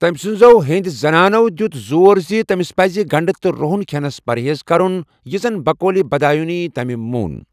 تٔمۍ سٕنٛزو ہینٛدۍ زَنانو دیُت زور زِ تمِس پَزِ گنٛڈٕ تہٕ رۄہن کھٮ۪نس پرہیز کَرُن، یہِ زن بقولہِ بِدایوٗنی ،تمہِ مون ۔